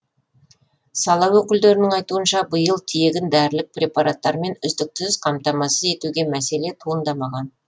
сала өкілдерінің айтуынша биыл тегін дәрілік препараттармен үздіксіз қамтамасыз етуде мәселе туындамаған